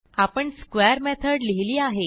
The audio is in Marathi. आपण स्क्वेअर मेथड लिहिली आहे